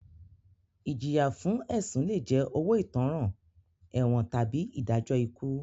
Ìjìyà fún ẹ̀sùn lé jẹ́ owó ìtanràn, ẹ̀wọ̀n tàbí ìdájọ́ ikú.